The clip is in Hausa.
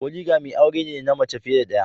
polygamy aure ne na mace fiye da daya.